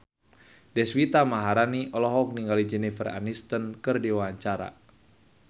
Deswita Maharani olohok ningali Jennifer Aniston keur diwawancara